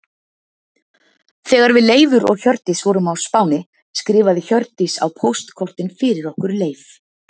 Þegar við Leifur og Hjördís vorum á Spáni skrifaði Hjördís á póstkortin fyrir okkur Leif.